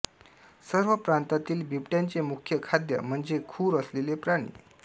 सर्व प्रांतातील बिबट्यांचे मुख्य खाद्य म्हणजे खूर असलेले प्राणी